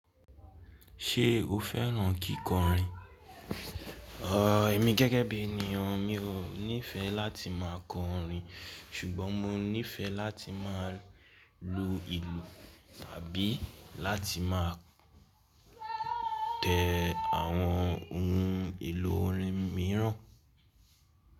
Ṣé o fẹ́ràn kíkọrin? Ẹ̀mi gẹ́gẹ́ bí ènìyàn mi ò nífẹẹ láti máa kọ orin ṣùgbọ́n mo nífẹẹ láti máa lu ìlù tàbí láti má tẹ àwọn ohun èlò orin mìíràn.